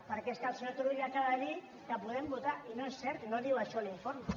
perquè és que el senyor turull acaba de dir que podem votar i no és cert no diu això l’informe